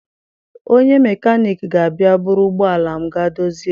Onye mekaniki ga-abịa buru ụgbọala m gaa dozie.